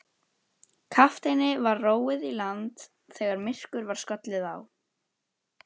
Kafteini var róið í land þegar myrkur var skollið á.